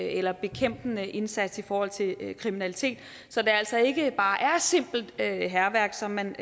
eller bekæmpende indsats i forhold til kriminalitet så det altså ikke bare er simpelt hærværk som man